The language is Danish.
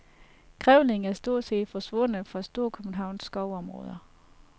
Grævlingen er stort set forsvundet fra storkøbenhavnske skovområder.